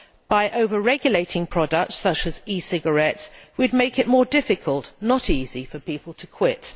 By over regulating products, such as e cigarettes, we would make it more difficult, not easy, for people to quit.